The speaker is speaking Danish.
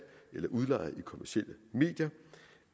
eller udlejning